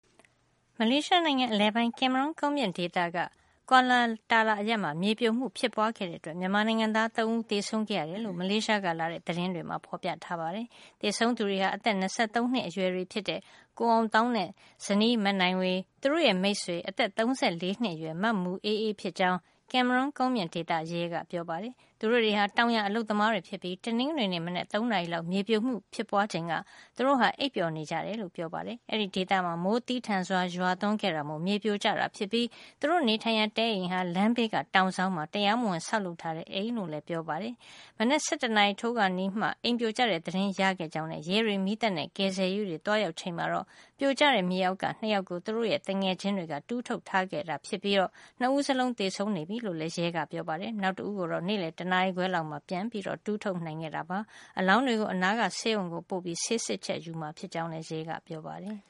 မလေးရှားနိုင်ငံ အလယ်ပိုင်း ကင်မရွန်း ကုန်းမြင့်ဒေသ က Kuala Terla အရပ်မှာ မြေပြိုမှု ဖြစ်ပွားခဲ့တဲ့အတွက် မြန်မာနိုင်ငံသား ၃ ဦး သေဆုံးခဲ့ရတယ်လို့ မလေးရှားကလာတဲ့ သတင်းတွေမှာ ဖော်ပြထားပါတယ်။ သေဆုံးသူတွေဟာ အသက် ၂၃ နှစ်အရွယ်တွေ ဖြစ်တဲ့ ကိုအောင်သောင်းနဲ့ ဇနီး မနိုင်ဝေ၊ သူတို့ရဲ့မိတ်ဆွေ အသက် ၃၄ နှစ်အရွယ် မမူအေးအေး ဖြစ်ကြောင်း ကင်မရွန်းကုန်းမြင့်ဒေသ ရဲက ပြောပါတယ်။ သူတို့တွေဟာ တောင်ယာအလုပ်သမားတွေ ဖြစ်ပြီး တနင်္ဂနွေနေ့ မနက် ၃ နာရီလောက် မြေပြိုမှု ဖြစ်ပွားချိန်က အိပ်ပျော်နေကြ တယ်လို့ ပြောပါတယ်။ အဲဒီဒေသမှာ မိုးသည်းထန်စွာ ရွာသွန်းခဲ့တာမို့ မြေပြိုကျတာဖြစ်ပြီး သူတို့နေထိုင်ရာ တဲအိမ်ဟာ လမ်းဘေးက တောင်စောင်းမှာ တရားမဝင်ဆောက်လုပ်ထားတဲ့ အိမ်ဖြစ်ကြောင်း လည်းပြောပါတယ်။ မနက် ၁၁ နာရီထိုးခါနီးမှ အိမ်ပြိုကျတဲ့ သတင်းရခဲ့ကြောင်းနဲ့ ရဲတွေ မီးသတ်နဲ့ ကယ်ဆယ်ရေးတွေ သွားရောက် ချိန်မှာတော့ ပြိုကျတဲ့ မြေအောက်ကနေ ၂ ယောက်ကို သူတို့ရဲ့ သူငယ်ချင်းတွေက တူးထုတ်ထားခဲ့တာ ဖြစ်ပြီး ၂ ဦးလုံးသေဆုံးနေပြီ လို့လည်း ရဲကပြောပါတယ်။ နောက်တဦၤးကိုတော့ နေ့လည် တနာရီခွဲလောက်မှာ ပြန်တူးထုတ်နိုင်ခဲ့တာပါ။ အလောင်းတွေကို အနားက ဆေးရုံကို ပို့ပြီး ဆေးစစ်ချက် ယူမှာ ဖြစ်ကြောင်းလည်း ပြောပါတယ်